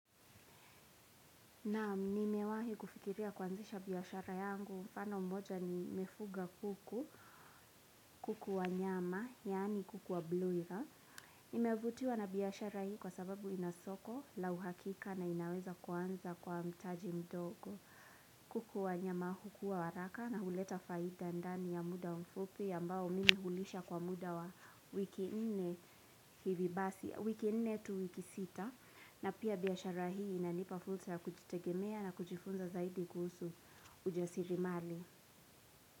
Naam, nimewahi kufikiria kwanzisha biashara yangu. Mfano mmoja nimefuga kuku. Kuku wa nyama, yaani kuku wa broiler. Nimevutiwa na biashara hii kwa sababu ina soko la uhakika na inaweza kuanza kwa mtaji mdogo. Kuku wa nyama hukua haraka na huleta faida ndani ya muda mfupi ambao mimi hulisha kwa muda wa wiki nne, hivi basi, wiki nne tu wiki sita na pia biashara hii inanipafursa ya kujitegemea na kujifunza zaidi kuhusu ujasirimali.